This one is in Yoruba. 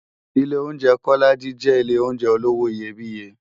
Ilé óunjè Kólàjí jè Ilé óunjè ólówó iyébìyé